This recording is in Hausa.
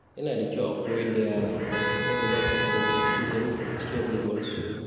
Yana da kyau a koyar da yara yadda za su kasance cikin tsaro a cikin unguwarsu.